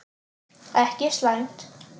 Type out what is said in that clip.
Ekki slæmt.